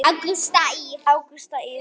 Ágústa Ýr.